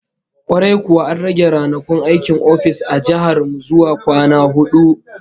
Kwarai kuwa, an rage ranakun aikin ofis a jihar mu zuwa kwana hudu